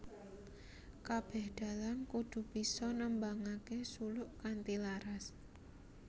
Kabeh dalang kudu bisa nembangake suluk kanthi laras